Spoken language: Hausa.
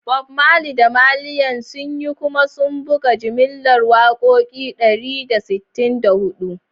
Bob Marley da Wailers sun yi kuma sun buga jimillar wakoki dari da sittin da hudu.